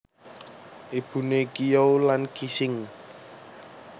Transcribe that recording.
Ibuné Qiyou lan Qixing